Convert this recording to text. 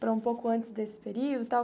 Para um pouco antes desse período e tal.